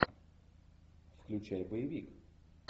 включай боевик